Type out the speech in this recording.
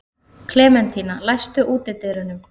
Klementína, læstu útidyrunum.